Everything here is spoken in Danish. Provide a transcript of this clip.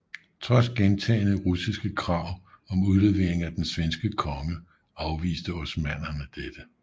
Trods gentagne russiske krav om udlevering af den svenske konge afviste osmannerne dette